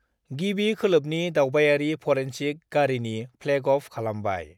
गिबि खोलोबनि दावबायारि फरेन्सिक गारिनि फ्लेगअफ खालामबाय।